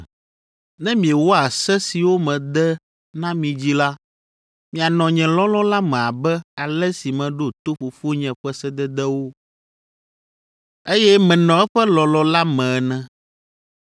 Ne miewɔa se siwo mede na mi dzi la, mianɔ nye lɔlɔ̃ la me abe ale si meɖo to Fofonye ƒe sededewo, eye menɔ eƒe lɔlɔ̃ la me ene.